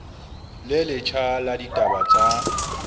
le letjha la ditaba tsa